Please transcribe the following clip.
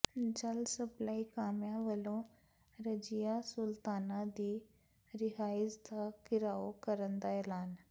ਜਲ ਸਪਲਾਈ ਕਾਮਿਆਂ ਵੱਲੋਂ ਰਜੀਆ ਸੁਲਤਾਨਾ ਦੀ ਰਿਹਾਇਸ਼ ਦਾ ਿਘਰਾਓ ਕਰਨ ਦਾ ਐਲਾਨ